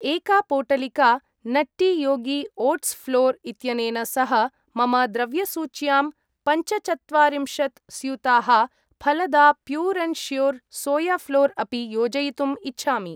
एका पोटलिका Nutty Yogi oats flour इत्यनेन सह मम द्रव्यसूच्यां पञ्चचत्वारिंशत् स्यूताः Phalada Pure and Sure soya flour अपि योजयितुम् इच्छामि।